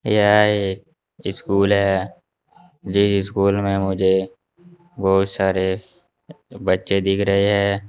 यह एक स्कूल है ये स्कूल में मुझे बहुत सारे बच्चे दिख रहे हैं।